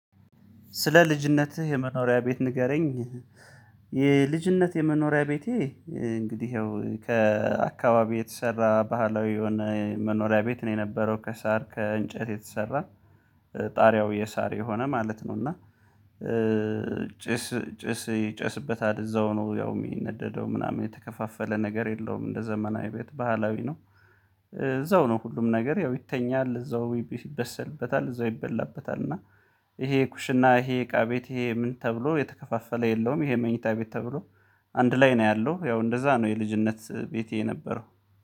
ስለ ልጅነትህ የመኖሪያ ቤት ንገረኝ? የልጅነት የመኖሪያ ቤቴ እንግዲህ ይኸው ከአካባቢ የተሰራ ባህላዊ የሆነ መኖሪያ ቤት ነው የነበረው ከሳር ከእንጨት የተሰራ ጣሪያው የሳር የሆነ ማለት ነው እና ጭስ ጭስ ይጨስበታል እዛው ነው ያው የሚነደደው ምናምን የተከፋፈለ ነገር የለውም እንደ ዘመናዊ ቤት ባህላዊ ነው እዛው ነው ሁሉም ነገር ያው ይተኛል እዛው ይበሰልበታል እዛው ይበላበታል እና ይሄ ኩሽና ይሄ እቃ ቤት ይሄ ምን ተብሎ የተከፋፈለ የለውም ይሄ መኝታ ቤት ተብሎ አንድ ላይ ነው ያለው ያው እንደዛ ነው የልጅነት ቤቴ የነበረው።